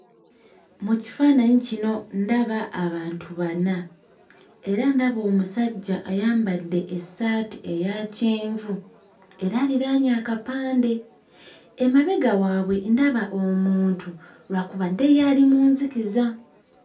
Mu kifaananyi kino ndaba abantu bana era ndaba omusajja ayambadde essaati eya kyenvu era aliraanye akapande emabega waabwe ndaba omuntu lwakubadde ye ali mu nzikiza.